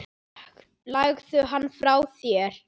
Legðu hann frá þér